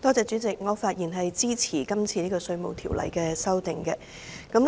主席，我發言支持《2018年稅務條例草案》。